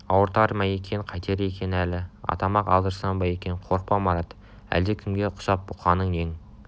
ауыртар ма екен қайтер екен әли атама-ақ алдырсам ба екен қорықпа марат әлдекімге ұқсап бұққаның нең